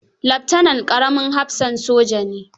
Leftanan ƙaramin hafsan soja ne.